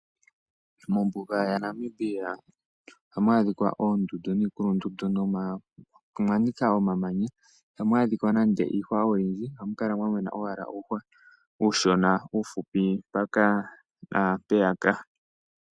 Mombuga yaNamibia ohamu adhika oondundu niikulundundu. Omwa nika omamanya. Ihamu adhika nande iihwa oyindji. Ohamu kala mwa mena owala uuhwa uushona uufupi mpaka naampeya.